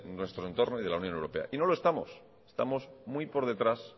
nuestro entorno y de la unión europea y no lo estamos estamos muy por detrás